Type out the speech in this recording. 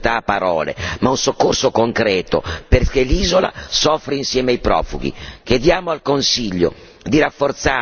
Lampedusa deve avere non solo la solidarietà a parole ma un soccorso concreto, perché l'isola soffre insieme ai profughi!